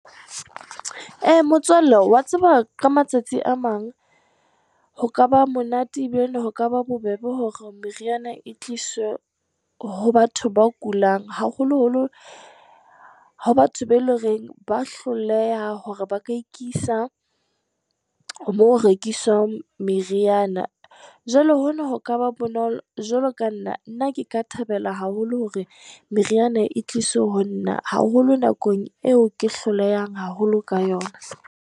E! Motswalle wa tseba, ka matsatsi a mang, ho kaba monate e bilane ho ka ba bobebe hore meriana e tliswe ho batho ba kulang, haholoholo ho batho be le reng ba hloleha hore ba ka ikisa moo ho rekiswang meriana. Jwale hona ho kaba bonolo, jwalo ka nna. Nna ke ka thabela haholo hore meriana e tliswe ho nna, haholo nakong eo ke hlolehang haholo ka yona.